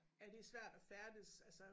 Ja det er svært at færdes altså